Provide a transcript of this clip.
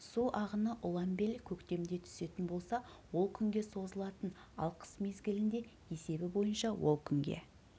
су ағыны ұланбел көктемде түсетін болса ол күнге созылатын ал қыс мезгілінде есебі бойынша ол күнге